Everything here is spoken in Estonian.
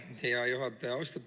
Aitäh, hea juhataja!